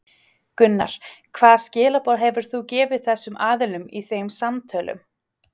Gunnar: Hvaða skilaboð hefur þú gefið þessum aðilum í þeim samtölum?